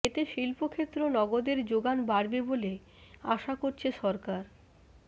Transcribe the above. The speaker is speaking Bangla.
এতে শিল্পক্ষেত্র নগদের জোগান বাড়বে বলে আশা করছে সরকার